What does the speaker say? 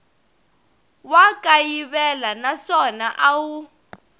wa kayivela naswona a wu